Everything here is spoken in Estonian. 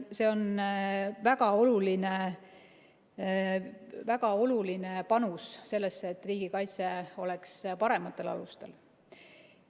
See on väga oluline panus sellesse, et riigikaitse oleks parematel alustel.